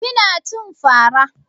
Kina cin fara